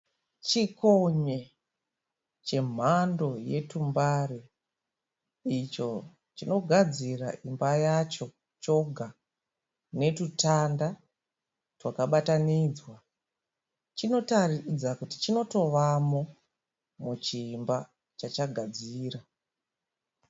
Chikonye chemhando yetumbare , ichi chinogadzira imba yacho choga netwutanda twakabatanidzwa, chinoratidza kuti chinotovamo muchimba chachagadzira.